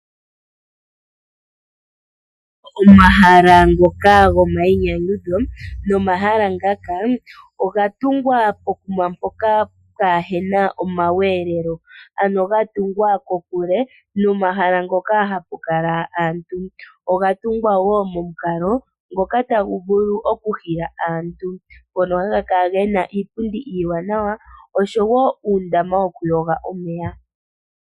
Omahala ngoka gomainyanyudho nomahala ngaka oga tungwa pokuma mpoka kaapuna omaweelelo, ano gatungwa kokule nomahala ngoka haku kala aantu, nogatungwa wo momukalo ngoka tagu vulu okuhila aantu ngono haha kala gena iipundi iiwanawa oshowoo uundama wokuyoga.